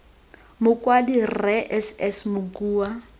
mokwadi rre s s mokua